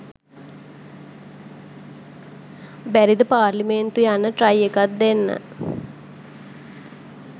බැරිද පාර්ලිමේන්තු යන්න ට්‍රයි එකක් දෙන්න